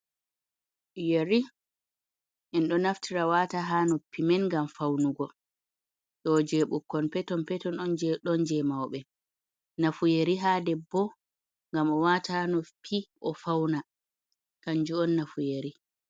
Yeri en ɗo naftira wata ha noppi men ngam faunugo, ɗoje ɓukkon peton peton on ɗon je mauɓe, nafu yeri ha debbo ngam o wata ha noppi o fauna kanjum on nafuyeri.